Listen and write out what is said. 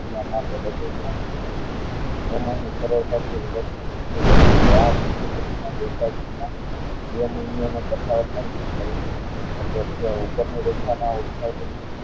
આવા માં સરળતા થી આ બિંદુ પ્રતિમા બે બિંદુ નો તફાવત નક્કી કરી શકે છે ઉપર ની રેખા ના